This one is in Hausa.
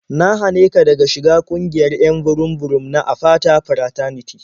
Na hane ka daga shiga ƙungiyar 'yan burum-burum na Apata Fraternity.